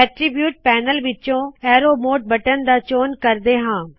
attribute panel ਵਿੱਚੋ arrow mode button ਦਾ ਚੌਨ ਕਰਦੇ ਹਾ